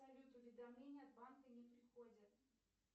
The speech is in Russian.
салют уведомления от банка не приходят